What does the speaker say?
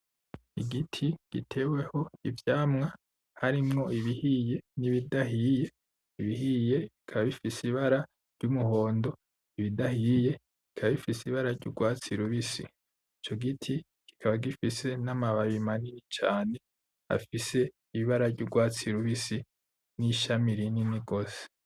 Igiti giteweho ivyamwa, harimwo ibihiye n'ibidahiye. Ibihiye bikaba bifise ibara ry'umuhondo, ibidahiye bikaba bifise ibara ry'urwatsi rubisi. Ico giti, kikaba gifise n'amababi manini cane afise ibara ry'urwatsi rubisi, n'ishami rinini rwose.